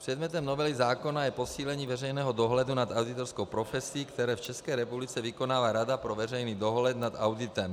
Předmětem novely zákona je posílení veřejného dohledu nad auditorskou profesí, který v České republice vykonává rada pro veřejný dohled nad auditem.